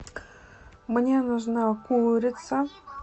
мне нужна курица